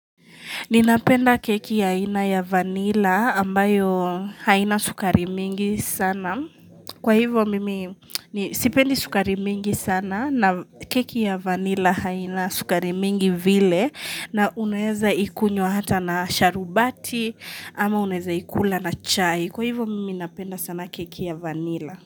Ninapenda keki ya ina ya vanilla ambayo haina sukari mingi sana. Kwa hivyo mimi sipendi sukari mingi sana na keki ya vanilla haina sukari mingi vile na uneza ikunywa hata na sharubati ama unaezaikula na chai. Kwa hivyo mimi napenda sana keki ya vanilla.